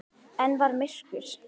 Enn var myrkur.